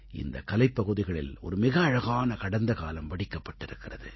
இந்தக் கலைப் பகுதிகளில் ஒரு மிக அழகான கடந்த காலம் வடிக்கப்பட்டிருக்கிறது